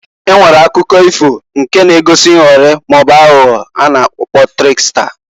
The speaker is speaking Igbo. E nwere akụkọ ifo nke na-egosi nghọrị maọbụ aghụghọ a na-akpọ triksta.